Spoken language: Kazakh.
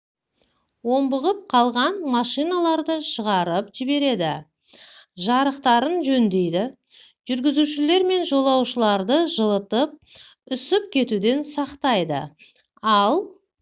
омбығып қалған машиналарды шығарып жібереді жарықтарын жөндейді жүргізушілер мен жолаушыларды жылытып үсіп кетуден сақтайды ал